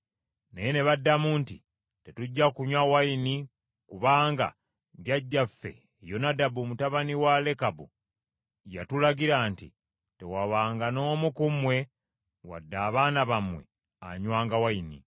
Naye ne baddamu nti, “Tetujja kunywa nvinnyo kubanga jjajjaffe Yonadabu mutabani wa Lekabu yatulagira nti, ‘Tewabanga n’omu ku mmwe wadde abaana bammwe anywanga envinnyo.